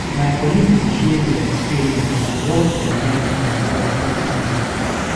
My colleague dey share their experience and what dem learn from work every day.